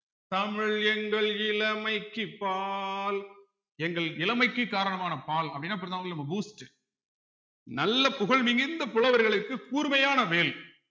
தமிழ் எங்கள் இளமைக்குப் பால் எங்கள் இளமைக்கு காரணமான பால் அப்படின்னா புரியுதா உங்களுக்கு நம்ம boost உ நல்ல புகழ் மிகுந்த புலவர்களுக்கு கூர்மையான வேல்